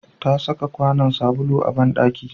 Ta saka kwanon sabulu a banɗaki